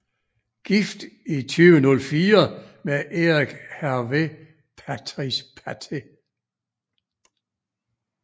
Gift i 2004 med Eric Hervé Patrice Patte